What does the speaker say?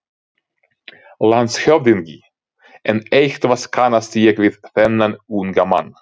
LANDSHÖFÐINGI: En eitthvað kannast ég við þennan unga mann.